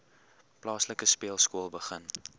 plaaslike speelskool begin